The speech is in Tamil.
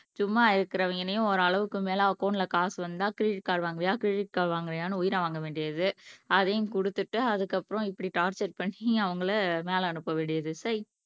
சும்மா இருக்கிறவங்களையும் ஒரு அளவுக்கு மேலே அக்கௌன்ட்ல காசு வந்தா கிரெடிட் கார்டு வாங்குறியா கிரெடிட் கார்டு வாங்குறியான்னு உயிரை வாங்க வேண்டியது அதையும் கொடுத்துட்டு அதுக்கப்புறம் இப்படி டார்ச்சர் பண்ணி அவங்களை மேல அனுப்ப வேண்டியது செய்